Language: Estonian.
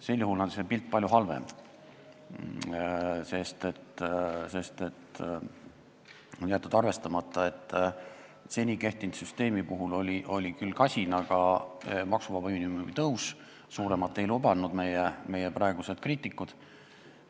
Sel juhul on see pilt palju halvem, sest on jäetud arvestamata, et seni kehtinud süsteemi puhul oli küll kasin maksuvaba miinimumi tõus, aga see siiski oli, suuremat ei lubanud meie praegused kriitikud.